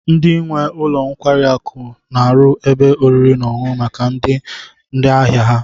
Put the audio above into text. Ndi nwe ụlọ nkwari akụ n'aru ebe oriri n'oṅuṅụ maka ndi ahia ha